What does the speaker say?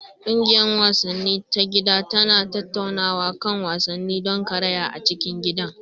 Ƙungiyar wasanni ta gida tana tattaunawa kan wasannin don karaya a cikin gidan.